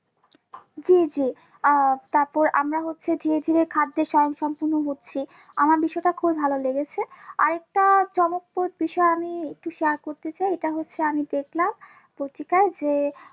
জি জি আহ তারপর আমরা হচ্ছে ধীরে ধীরে খাদ্যে স্বয়ংসম্পূর্ণ হচ্ছি আমার বিষয়টা খুবই ভালো লেগেছে আরেকটা চমকপ্রদ বিষয় আমি একটু share করতে চাই এটা হচ্ছে আমি দেখলাম পত্রিকায় যে